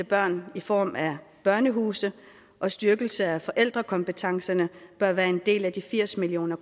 børn i form af børnehuse og styrkelse af forældrekompetencerne bør være en del af de firs million